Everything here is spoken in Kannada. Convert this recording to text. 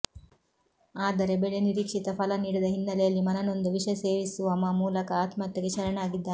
ಆದರೆ ಬೆಳೆ ನಿರೀಕ್ಷಿತ ಫಲ ನೀಡದ ಹಿನ್ನೆಲೆಯಲ್ಲಿ ಮನನೊಂದು ವಿಷ ಸೇವಿಸುವಮ ಮೂಲಕ ಆತ್ಮಹತ್ಯೆಗೆ ಶರಣಾಗಿದ್ದಾನೆ